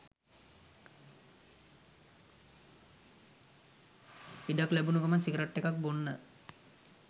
ඉඩක් ලැබුනු ගමන් සිගරට් එකක් බොන්න